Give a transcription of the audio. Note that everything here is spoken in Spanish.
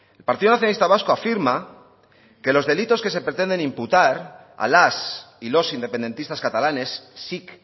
el partido nacionalista vasco afirma que los delitos que se pretenden imputar a las y los independentistas catalanes sic